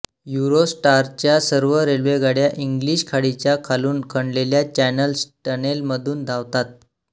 युरोस्टारच्या सर्व रेल्वेगाड्या इंग्लिश खाडीच्या खालून खणलेल्या चॅनल टनेलमधून धावतात